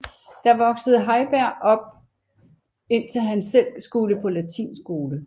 Der voksede Heiberg op indtil han selv skulle på latinskole